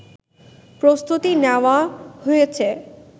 প্রস্তুতি নেওয়া হয়েছে